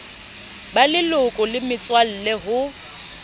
ba leloko le metswalle ho